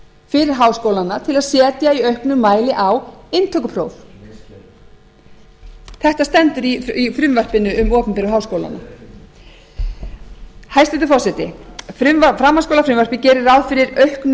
fyrir háskólana til að setja í auknum mæli á inntökupróf inntökuprófa það er verið að innleiða gjaldtökuheimild í nýju lögunum um opinbera háskóla fyrir háskólana til að etja í auknum mæli á inntökupróf þetta stendur í frumvarpinu um opinberu háskólana hæstvirtur forseti framhaldsskólafrumvarpið gerir ráð fyrir auknu